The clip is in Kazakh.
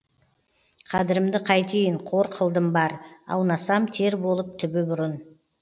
қадірімді қайтейін қор қылдым бар аунасам тер болып түбі бұрын